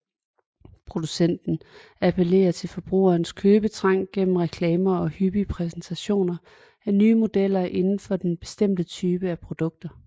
Producenten appellerer til forbrugerens købetrang gennem reklamer og hyppig præsentation af nye modeller inden for den bestemte type af produkter